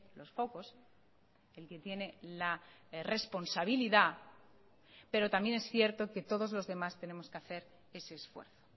los focos el que tiene la responsabilidad pero también es cierto que todos los demás tenemos que hacer ese esfuerzo